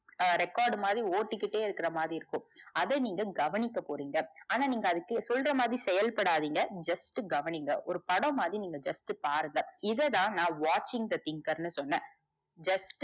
ஹம் record மாதிரி ஒட்டிகிட்டே இருக்கற மாதிரி இருக்கும் அத நீங்க கவனிக்க போறீங்க ஆனா நீங்க அது சொல்ற மாதிரி செயல் படாதிங்க just கவனிங்க. ஒரு படம் மாதிரி நீங்க just பாருங்க இததா நா watching the thinker னு சொன்ன just